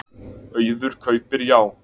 Auður kaupir Já